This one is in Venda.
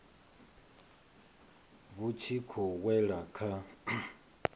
vhu tshi khou wela kha